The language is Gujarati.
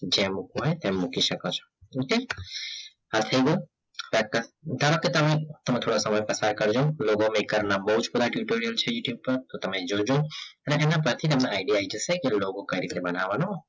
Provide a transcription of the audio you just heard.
જેમ મૂકવું હોય તેમ મૂકી સકો છો okay આ થઈ ગયું ધરોકે તમે તમે થોડા સમય પ્રકાર કરજો logo maker ના તો તમે જોજો અને આના પછી ના માં idea આય જસે કે logo કઈ રીતે બનવાનો